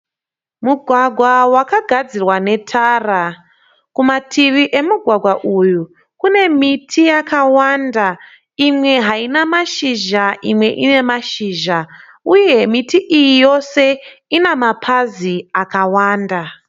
Mugwagwa wakagadzirwa netara. Kumativi emugwagwa uyu kune miti yakawanda. imwe haina mashizha imwe ine mashizha uye miti iyi yose Ina mapazi akawanda.